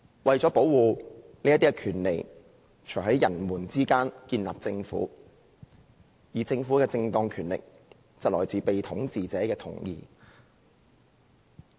為了保護這些權利，人們才在他們之間建立政府，而政府的正當權力，則來自被統治者的同意。